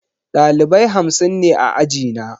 Ɗalibai hamsin ne a ajina.